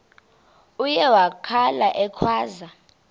uye wakhala ekhwaza